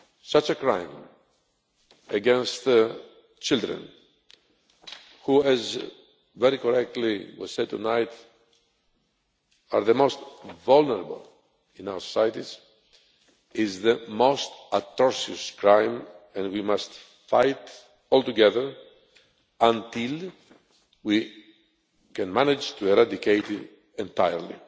Such a crime against children who as very correctly was said tonight are the most vulnerable in our societies is the most atrocious crime, and we must fight together until we can manage to eradicate it entirely.